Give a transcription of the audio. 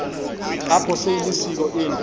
apha seyilisiko into